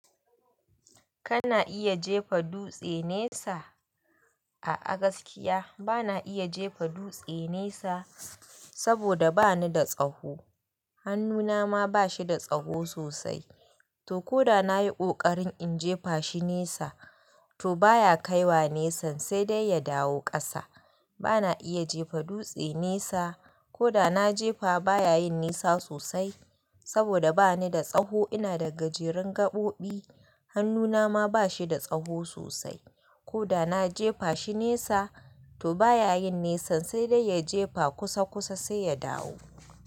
Kana iya jefa dutse nesa? A gaskiya bana iya jefa dutse nesa saboda bani da tsaho. Hannuna ma ba shi da tsaho sosai. To koda nayi ƙoƙarin in jefa shi nesa, to baya kaiwa nesan sai dai ya dawo ƙasa. Bana iya jefa dutse nesa. Koda na jefa baya yin nesa sosai saboda bani da tsaho. Ina da gajerun gaɓoɓi. Hannuna ma ba shi da tsaho sosai. Koda na jefa shi nesa, to baya yin nesa sai dai ya jefa kusa kusa sai ya dawo.